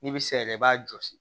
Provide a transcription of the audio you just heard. N'i bɛ se yɛrɛ i b'a jɔsi